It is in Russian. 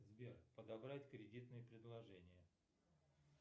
сбер подобрать кредитные предложения